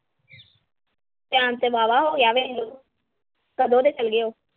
time ਤੇ ਵਾਹਵਾ ਹੋਗਿਆ ਕਦੋਂ ਦੇ ਚਲ ਗਏ।